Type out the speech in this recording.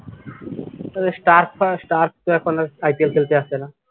তারপর স্টারক তো স্টার্ক আর IPL খেলতে আসে না